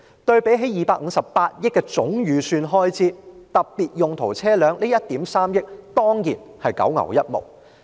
對比警務處258億元的總開支預算，特別用途車輛花的1億 3,000 萬多元當然只是九牛一毛。